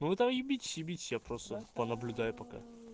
ну вы там ебитесь ебитесь я просто понаблюдаю пока